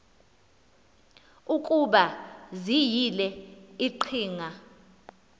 ukuba ziyile iqhinga